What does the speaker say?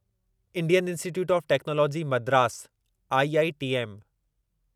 Indian Institute of Technology Madras IITM